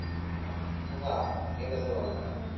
हां हे कस बोलला